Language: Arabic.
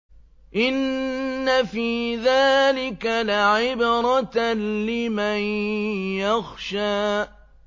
إِنَّ فِي ذَٰلِكَ لَعِبْرَةً لِّمَن يَخْشَىٰ